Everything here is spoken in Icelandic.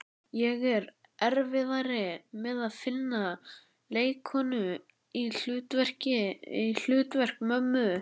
Ég á erfiðara með að finna leikkonu í hlutverk mömmu.